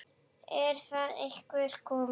Er það eitthvað komið?